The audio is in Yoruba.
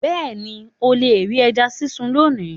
Bẹ́ẹ̀ni, o le ri ẹja sisun loni